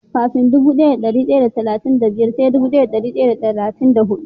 Kafin dubu daya da dari daya da talatin da biyar sai dubu daya da dari daya da talatin da hudu.